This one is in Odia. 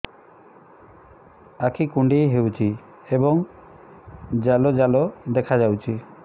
ଆଖି କୁଣ୍ଡେଇ ହେଉଛି ଏବଂ ଜାଲ ଜାଲ ଦେଖାଯାଉଛି